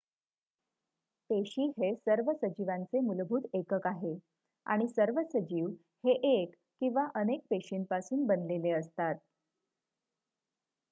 पेशी हे सर्व सजीवांचे मूलभूत एकक आहे आणि सर्व सजीव हे 1 किंवा अनेक पेशींपासून बनलेले असतात